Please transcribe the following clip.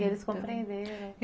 E eles compreenderam.